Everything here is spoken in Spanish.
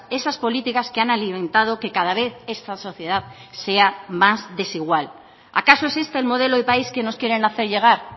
esas políticas que han alimentado que cada vez esta sociedad sea más desigual acaso existe el modelo de país que nos quieren hacer llegar